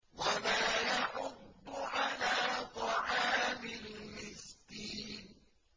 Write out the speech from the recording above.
وَلَا يَحُضُّ عَلَىٰ طَعَامِ الْمِسْكِينِ